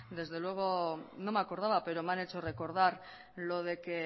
desde luego no me acordaba pero me han hecho recordar lo de que